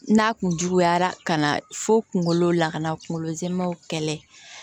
N'a kun juguyara ka na fo kungolo la ka na kunkolo zɛmɛw kɛlɛ